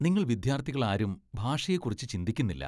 നിങ്ങൾ വിദ്യാർത്ഥികളാരും ഭാഷയെക്കുറിച്ച് ചിന്തിക്കുന്നില്ല